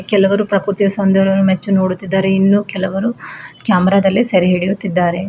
ಕೆಲವರು ಪ್ರಕೃತಿಯ ಸೌಂದರ್ಯವನ್ನು ಮೆಚ್ಚು ನೋಡುತ್ತಿದ್ದಾರೆ ಇನ್ನು ಕೆಲವರು ಕ್ಯಾಮರಾ ದಲ್ಲಿ ಸೆರೆ ಹಿಡಿಯುತ್ತಿದ್ದಾರೆ.